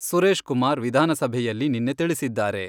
ಸುರೇಶ್ ಕುಮಾರ್ ವಿಧಾನಸಭೆಯಲ್ಲಿ ನಿನ್ನೆ ತಿಳಿಸಿದ್ದಾರೆ.